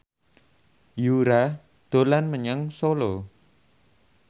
Yura dolan menyang Solo